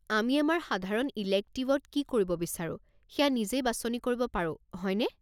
আমি আমাৰ সাধাৰণ ইলেক্টিভত কি কৰিব বিচাৰো, সেয়া নিজেই বাছনি কৰিব পাৰো, হয়নে?